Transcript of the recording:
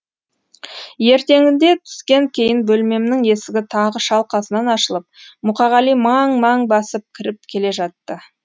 ертеңінде түстен кейін бөлмемнің есігі тағы шалқасынан ашылып мұқағали маң маң басып кіріп келе жатты